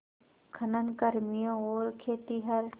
खनन कर्मियों और खेतिहर